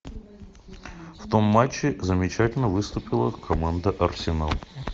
в том матче замечательно выступила команда арсенал